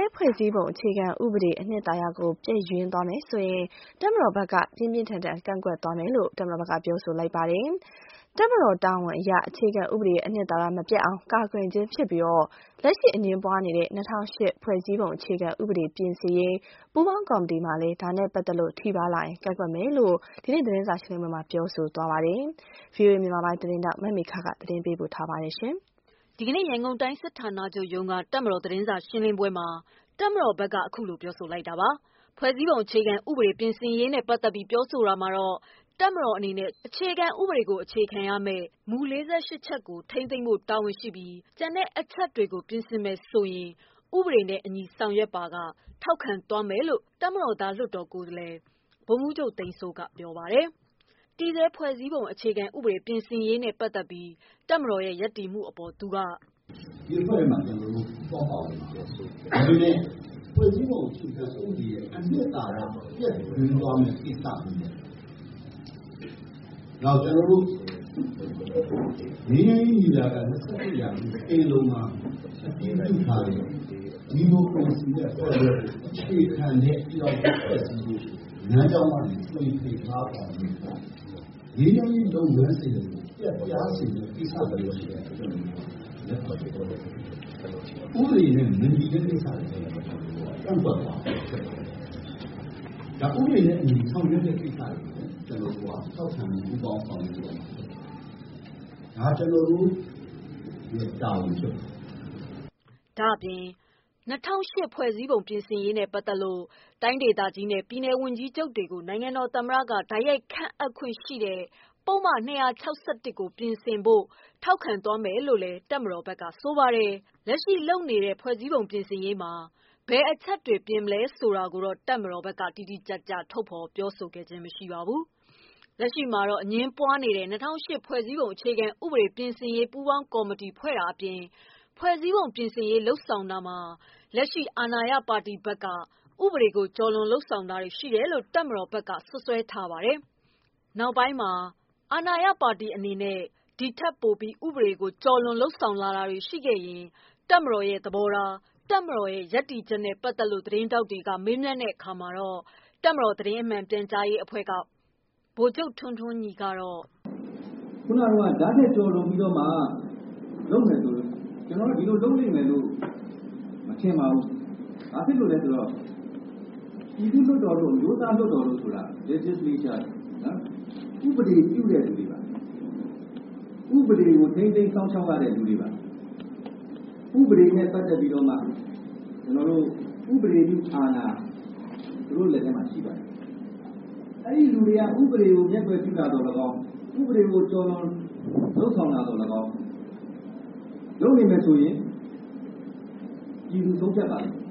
ဲဖွဲ့စည်းပုံ အခြေခံဥပဒေရဲ့ အနှစ်သာရကိုပျက်ယွင်းသွားမယ်ဆိုရင် တပ်မတော် ဘက်က ပြင်းပြင်းထန်ထန် ကန့်ကွက်သွားမယ်လို့ ပြောပါတယ်။ တပ်မတော်တာဝန်အရ အခြေခံဥပဒေရဲ့အနှစ်သာရမပျက်အောင် ကာကွယ်ခြင်းဖြစ်ပြီး လက်ရှိ အငြင်းပွားနေတဲ့ ၂၀၀၈ ဖွဲ့စည်းပုံ အခြေခံဥပဒေပြင်ဆင်ရေး ပူးပေါင်းကော်မတီမှာလည်း ဒါနဲ့ပတ်သက်လို့ ထိပါးလာရင် ကန့်ကွက်မယ်လို့ ဆိုပါတယ်။ ဒီသတင်းကို ဗွီအိုအေ သတင်းထောက် မေခက ပေးပို့ထားပါတယ်။ ဒီကနေ့ ရန်ကုန်တိုင်း စစ်ဌာနချုပ်ရုံးက တပ်မတော် သတင်းစာရှင်းလင်းပွဲမှာ တပ်မတော် ဘက်ကအခုလို ပြောဆိုလိုက်တာပါ။ ဖွဲ့စည်းပုံ အခြေခံ ဥပဒေပြင်ဆင်ရေးနဲ့ ပတ်သက်ပြီး ပြောဆိုရာမှာတော့ တပ်မတော်အနေနဲ့ အခြေခံဥပဒေကို အခြေခံရမယ့် မူ ၄၈ ချက်ကို ထိန်းသိမ်းဖို့တာဝန်ရှိပြီး ကျန်တဲ့အချက်တွေကို ပြင်ဆင်မယ်ဆိုရင် ဥပဒေနဲ့အညီ ဆောင်ရွက်ပါက ထောက်ခံသွားမယ်လို့ တပ်မတော်သား လွှတ်တော်ကိုယ်စားလှယ် ဗိုလ်ချူပ်သန်းစိုးက ပြောပါတယ်။ တည်ဆဲဖွဲ့စည်းပုံပြင်ရေးနဲ့ပတ်သက်ပြီး တပ်မတော်ရပ်တည်မှုအပေါ် သူက - “ဒီအဖွဲ့ထဲမှာ ကျနော်တို့ ပူးပေါင်းပါဝင်သွားမှာပါ။ ဒါပေမဲ့ ဖွဲ့စည်းပုံအခြေခံဥပဒေရဲ့ အနှစ်သာရ ပျက်ယွင်းသွားမယ့်ကိစ္စမျိုး၊ နောက်.. ကျနော်တို့ ငြိမ်းချမ်းရေးညီလာခံ ၂၁ ရာစုပင်လုံမှာ အတည်ပြုထားတဲ့ ဒီမိုကရေစီနဲ့ ဖယ်ဒရယ်ကို အခြေခံတဲ့ ပြည်ထောင်စုဖွဲ့စည်းဖို့ လမ်းကြောင်းကနေ သွေဖြည်သွားတာမျိုး၊ ငြိမ်းချမ်းရေး လုပ်ငန်းစဉ်တွေကို ပျက်ပြားစေမယ့် ကိစ္စမျိုးတွေကို လက်ခံမှာ မဟုတ်ပါဘူး။ ဥပဒေနဲ့မညီတဲ့ ကိစ္စတွေကိုလည်း ကန့်ကွက်သွားမယ်။ ဒါ ဥပဒေနဲ့အညီ ဆောင်ရွက်တဲ့ကိစ္စတွေကို ကျနော်တို့က ထောက်ခံပြီး ပူးပေါင်းဆောင်ရွက်ဖို့ အသင့် ပါပဲ။ ဒါ ကျနော်တို့ရဲ့ တာဝန်ဖြစ်ပါတယ်။” ဒါ့အပြင် ၂၀၀၈ ဖွဲ့စည်းပုံပြင်ဆင်ရေးနဲ့ပတ်သက်လို့ တိုင်းဒေသကြီးနဲ့ ပြည်နယ်ဝန်ကြီး ချုပ်တွေကို နိုင်ငံတော်သမ္မတက တိုက်ရိုက် ခန့်အပ်ခွင့်ရှိတဲ့ ပုဒ်မ ၂၆၁ ကို ပြင်ဆင်ဖို့ကို ထောက်ခံမယ်လို့ ပြောပေမဲ့ လက်ရှိလုပ်နေတဲ့ ပြင်ဆင်ရေးမှာ ဘယ်အချက်တွေ ပြင်ဖို့ လုပ်မလဲဆိုတာကို မပြောပါဘူး။ လက်ရှိမှာ အငြင်းပွားနေတဲ့ ၂၀၀၈ ဖွဲ့စည်းပုံ အခြေခံ ဥပဒေပြင်ဆင်ရေး ပူးပေါင်းကော်မတီဖွဲ့တာအပြင် ဖွဲ့စည်းပုံပြင်ရေးတွေမှာ လက်ရှိ အာဏာရ ပါတီဘက်က ဥပဒေကို ကျော်လွန်လုပ်ဆောင်တာတွေရှိတယ်လို့ တပ်မတော်ဘက်ကစွပ်စွဲထားပါတယ်။ နောက်ပိုင်းမှာ ဒီထပ်ပိုပြီး ဥပဒေကိုကျော်လွန်လုပ်ဆောင်တာတွေရှိလာရင် တပ်မတော်ရဲ့ သဘောထားနဲ့ပတ်သက်လို့ တပ်မတော် သတင်းမှန် ပြန်ကြားရေးအဖွဲ့က ဗိုလ်ချုပ် ထွန်းထွန်းညီက “အခုနတုန်းက ဒါ့ထက်ကျော်လွန်ပြီးတော့မှ လုပ်မယ်ဆိုတာ ကျနော်တို့ ဒီလို လုပ်လိမ့် မယ်လို့ မထင်ပါဘူး။ ဘာဖြစ်လို့လဲဆိုတော့ ပြည်သူ့လွှတ်တော်တို့၊ အမျိုးသားလွှတ်တော် တို့ဆိုတာ legislator တွေ၊ ဥပဒေပြုတဲ့လူတွေပါ။ ဥပဒေကို ထိန်းသိမ်းစောင့်ရှောက် ရတဲ့ လူတွေပါ။ ဥပဒေနဲ့ပတ်သက်ပြီးတော့မှ ဥပဒေပြု အာဏာ သူတို့လက်ထဲမှာရှိပါတယ်။ အဲဒီလူတွေက ဥပဒေကို မျက်ကွယ်ပြုတာသော်လည်းကောင်း၊ ဥပဒေကို ကျော်လွန် လုပ်ဆောင်တာ သော်လည်းကောင်း လုပ်နေမယ်ဆိုရင် ပြည်သူ ဆုံးဖြတ်ပါလိမ့်မယ်။